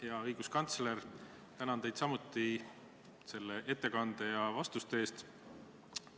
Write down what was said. Hea õiguskantsler, tänan teid selle ettekande ja vastuste eest!